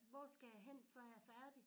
Hvor skal jeg hen før jeg er færdig